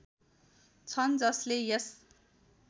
छन् जसले यस